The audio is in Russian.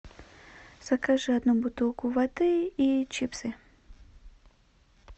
закажи одну бутылку воды и чипсы